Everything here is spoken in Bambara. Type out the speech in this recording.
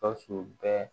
Gawusu bɛ